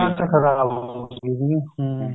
ਖਰਾਬ ਹੋ ਗਈ ਸੀਗੀ ਹਮ